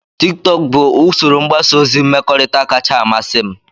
Tiktok bụ usoro mgbasa ozi mmekọrịta kacha amasị m.